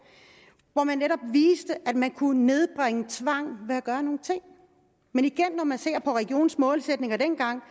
hvor man netop viste at man kunne nedbringe tvang ved at gøre nogle ting men igen når man ser på regionernes målsætninger dengang